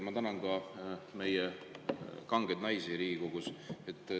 Ma tänan ka meie kangeid naisi Riigikogus.